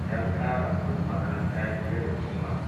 don ƙara kuɗin makaranta fiye da kima.